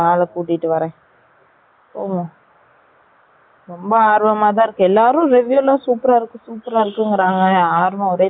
போகலாம் ரொம்ப ஆர்வம தான் இருக்கு எல்லரும் ர reveiw ல super அ இருல்லு super a இருக்கு னு சொல்ராங்க. ஆர்வம் ஒரெ தாங்கல